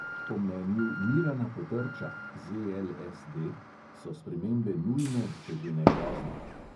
Po mnenju mirana potrča so spremembe nujne, če že ne pozne.